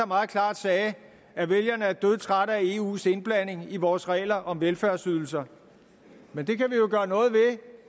meget klart sagde at vælgerne er dødtrætte af eus indblanding i vores regler om velfærdsydelser men det kan